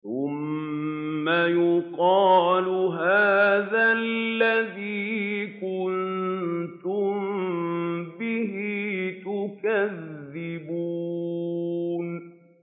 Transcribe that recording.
ثُمَّ يُقَالُ هَٰذَا الَّذِي كُنتُم بِهِ تُكَذِّبُونَ